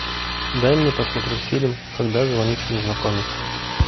дай мне посмотреть фильм когда звонит незнакомец